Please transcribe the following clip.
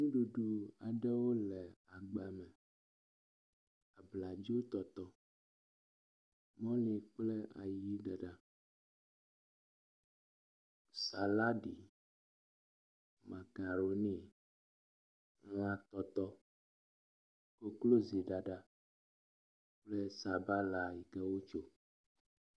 Nuɖuɖu aɖewo le agba me. Abladzo tɔtɔ, mɔli kple ayi ɖaɖa, salaɖi, makaroni, lã tɔtɔ, koklozi ɖaɖa kple sabala ɖe wotso.